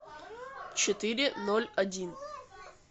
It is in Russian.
четыре ноль один